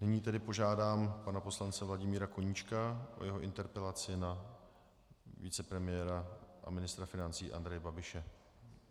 Nyní tedy požádám pana poslance Vladimíra Koníčka o jeho interpelaci na vicepremiéra a ministra financí Andreje Babiše.